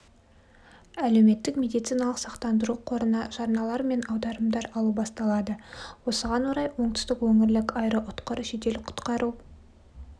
әлеуметтік медициналық сақтандыру қорына жарналар мен аударымдар алу басталады осыған орай оңтүстік өңірлік аэроұтқыр жедел-құтқару